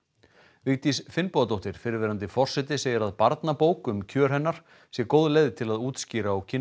Vigdís Finnbogadóttir fyrrverandi forseti segir að barnabók um kjör hennar sé góð leið til að útskýra og kynna